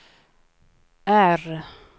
R